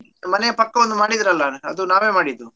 ಮನೆಯ ಪಕ್ಕ ಒಂದು ಮಾಡಿದ್ರಲಾ ಅದು ನಾವೇ ಮಾಡಿದ್ದು.